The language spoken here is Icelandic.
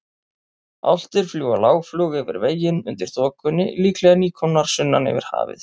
Álftir fljúga lágflug yfir veginn undir þokunni, líklega nýkomnar sunnan yfir hafið.